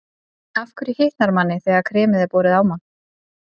Af hverju hitnar manni þegar kremið er borið á mann?